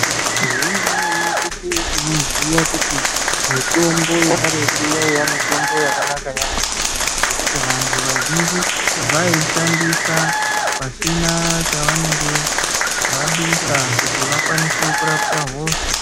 Zvemene-mene teshe tinoziya kuti, mitombo yekaretu yaiya mitombo yakanaka yaamho ngekuti vantu vazhinji vaiishandisa, pasina chavanenge vadusa, kuti vakwanise kurapwa hosha